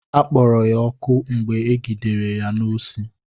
Akpọrọ ya ọkụ mgbe egidere ya n'osi.